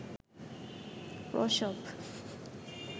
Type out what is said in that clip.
প্রসব